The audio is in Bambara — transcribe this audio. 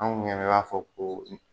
Anw b'a fɔ ko